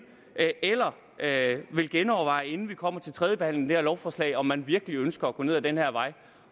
eller vil genoverveje inden vi kommer til tredjebehandlingen af det her lovforslag om man virkelig ønsker at gå ned ad den her vej